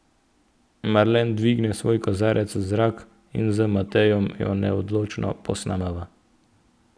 Marlen dvigne svoj kozarec v zrak in z Matejem jo neodločno posnemava.